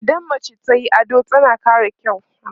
idan mace tayi ado tana ƙara kyau